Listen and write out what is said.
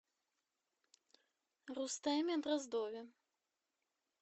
рустеме дроздове